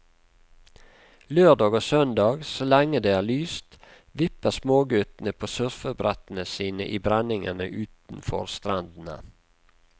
Lørdag og søndag, så lenge det er lyst, vipper småguttene på surfebrettene sine i brenningene utenfor strendene.